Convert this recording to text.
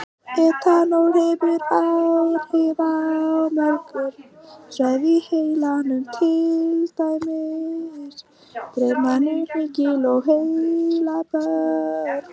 Etanól hefur áhrif á mörg svæði í heilanum, til dæmis dreif, mænu, hnykil og heilabörk.